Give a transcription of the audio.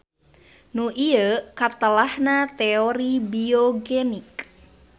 Nu ieu katelahna teori biogenik.